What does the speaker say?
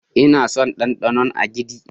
Ina son danɗanon agidi.